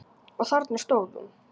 Og þarna stóð hún.